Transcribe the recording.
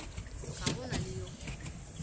ga go na le yo